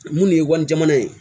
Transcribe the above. Mun de ye wali jamana ye